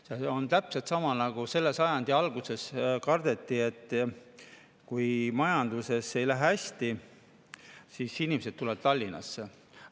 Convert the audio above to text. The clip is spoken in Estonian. See on täpselt sama nagu selle sajandi alguses kardeti, et kui majandusel ei lähe hästi, siis inimesed tulevad Tallinnasse.